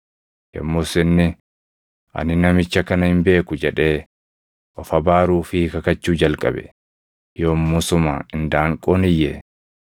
Yommus inni, “Ani namicha kana hin beeku” jedhee of abaaruu fi kakachuu jalqabe. Yommusuma indaanqoon iyye.